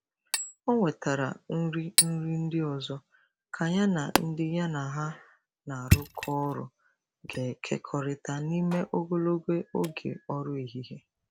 O O wetara nri nri ndị ọzọ ka ya na ndị ya na ha na-arụkọ ọrụ ga-ekekọrịta n'ime ogologo oge ọrụ ehihie.